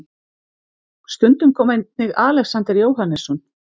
Stundum kom einnig Alexander Jóhannesson.